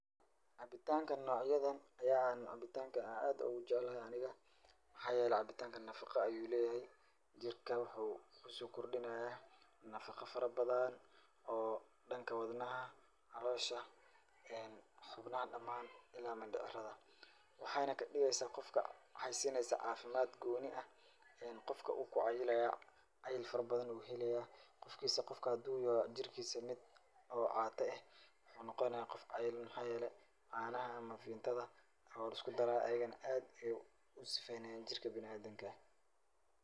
Cabitaankan nocyadan ayaa ah cabitaanka aan aad ugu jaclahay aniga. Maxaa yeelay cabitaankan nafaqa ayuu leeyahay jirka waxuu ku soo kordhinayaa nafaqa farabadaan oo dhanka wadnaha, caloosha, xubnaha dhamaan ila mindhicrada. Waxayna ka dhigaysaa qofka, waxay siinaysaa cafimaad gooni ah. Qofka wuu ku cayilaya, cayil farabadan ayuu helaya. Qofa haduu yahay jirkiisa mid oo caata eh, wuxuu noqonaa qof cayilan. Maxaa yeelay, caanaha ama vimtida oo luskudara ayigana aad ayaa u sifaynayaan jirka bina'aadinka.